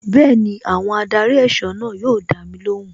Bẹẹni, àwọn adarí ẹ̀sọ́ náà yóò dami lóhùn.